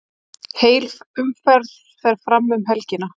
Heil umferð fer fram um helgina.